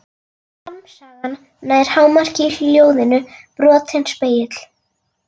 Harmsagan nær hámarki í ljóðinu Brotinn spegill.